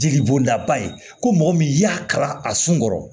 Jeli bɔnda ba ye ko mɔgɔ min y'a kalan a sun kɔrɔ